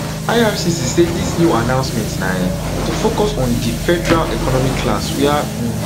ircc say dis new announcement na um to focus on di federal economic class wia um